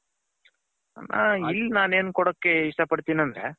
ಇಲ್ಲಿ ನನ್ ಏನು ಕೊಡಕ್ ಇಷ್ಟ ಪಡ್ತೀನಿ ಅಂದ್ರೆ.